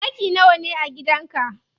Ɗaki nawa ne a gidan ka?